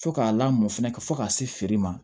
Fo k'a lamɔ fɛnɛ fɔ ka se feere ma